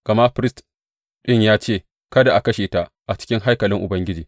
Gama firist ɗin ya ce, Kada a kashe ta a cikin haikalin Ubangiji.